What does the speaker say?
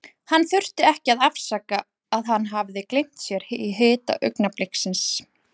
Hann þurfti ekki að afsaka að hann hafði gleymt sér í hita augnabliksins.